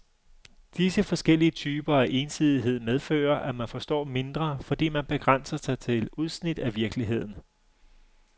Disse forskellige typer af ensidighed medfører, at man forstår mindre, fordi man begrænser sig til udsnit af virkeligheden.